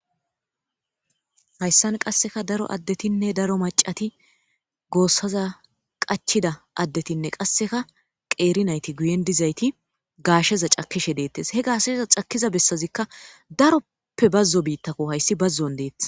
hayssan qasseka daro addetinne daro macati goossaza qachida addetinne qasseka qeeri nayti guyen dizayti gaasheza cakishe deettes he gaashsheza cakkiza bessazikka daroppe bazzo biittako hayssi bazzon deeththa